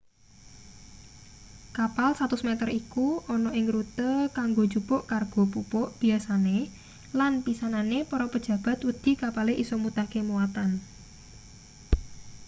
kapal 100 meter iku ana ing rute kanggo njupuk kargo pupuk biasane lan pisanane para pejabat wedi kapale isa mutahke muatan